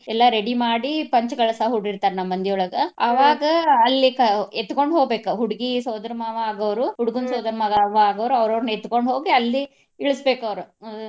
ಎಲ್ಲಾ ready ಮಾಡಿ ಪಂಚ ಕಳಸಾ ಹೂಡಿರ್ತಾರ ನಮ್ಮ್ ಮಂದಿಯೊಳಗ. ಅವಾಗ ಅಲ್ಲಿ ಕ~ ಎತ್ಕೊಂಡ ಹೋಗ್ಬೇಕ ಹುಡ್ಗಿ ಸೋದರ ಮಾವಾ ಆಗೋವ್ರು ಹುಡ್ಗನ್ ಸೋದ್ರ ಮಾವಾ ಆಗೋವ್ರು ಅವ್ರ ಅವ್ರನ ಎತ್ಕೊಂಡ್ ಹೋಗಿ ಅಲ್ಲಿ ಇಳ್ಸಬೇಕ್ ಅವ್ರ .